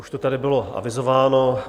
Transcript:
Už to tady bylo avizováno.